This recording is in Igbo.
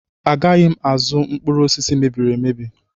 Agaghị m azụ mkpụrụ osisi mebiri emebi.